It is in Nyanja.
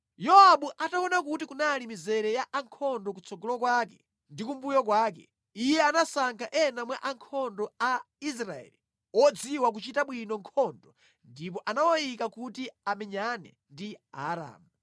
Yowabu ataona kuti kunali mizere ya ankhondo kutsogolo kwake ndi kumbuyo kwake; iye anasankha ena mwa ankhondo a Israeli odziwa kuchita bwino nkhondo ndipo anawayika kuti amenyane ndi Aaramu.